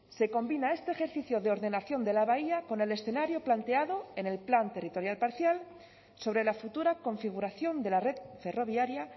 se combina este ejercicio de ordenación de la bahía con el escenario planteado en el plan territorial parcial sobre la futura configuración de la red ferroviaria